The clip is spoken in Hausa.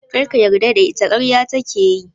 Kar ka yarda da ita - ƙarya take yi.